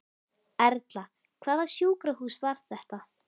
Erla: Hvaða sjúkrahús var þetta?